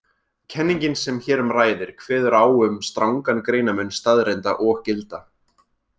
Kenningin sem hér um ræðir kveður á um strangan greinarmun staðreynda og gilda.